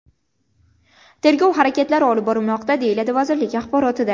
Tergov harakatlari olib borilmoqda”, deyiladi vazirlik axborotida.